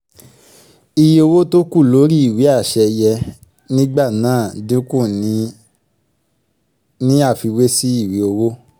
iye owó tókù lórí ìwé àṣẹ yẹ nígbà náà dínkù ní àfiwé sí ìwé owó